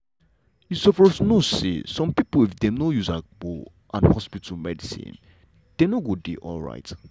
you sopose no say some pipo if dem no use agbo and hospital medicine dem no go dey alright.